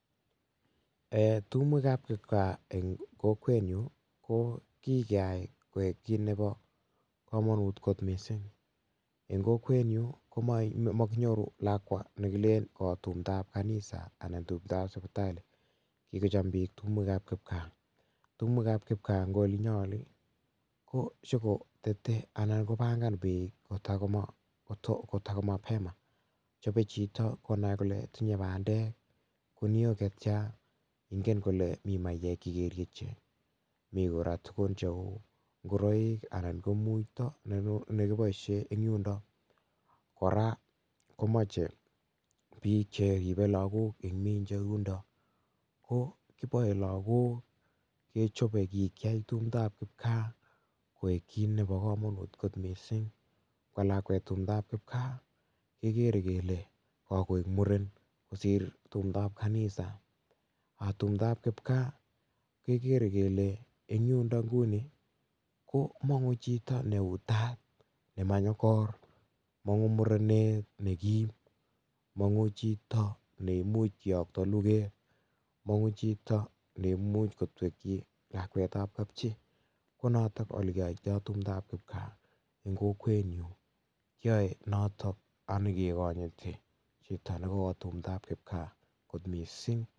Tumwek ab kipkaa eng kokwenyuu ko kikeyai koek kit nebo komonut kot mising eng kokwenyuu komakinyoru lakwa nekilen kawo tumdo ab kanisa ana tumdo ab sipitali kikocham piik tumwek ab kipkaa tumwek ab kipkaa eng olinyoo oli ko sikotetei anan kobangan betut kotokomapema michei chito konai kole tinyei bandek Kuniok chetcha ngen kole mi maiyek chekeriachei mi kora tukuk cheu ngoroik anan ko muiywek nekiboishe eng yundo kora komochei piik cheribei lakok ko kiboe lakok kechoboi tumdo ab kipkaa loek kiit nebo komonut kot mising ngwo lakwet tumdo ab kipkaa kekerei kele kakoek muren kosir tumdo ab kipkanisa tumdo ab kipkaa kekerei kele yundo nguni komongu chito neu taa nemanyokor mongu murenet nekim mongu chito nemuch keyokto luket mongu chito nemuch kotwekche lakwet ab kapchii ko noto ole keyoitoi tumdo ab kipkaa eng kokwenyuu kiyoe noto akekonyiri chito nekawo tumdo ab kipkaa kot mising.